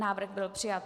Návrh byl přijat.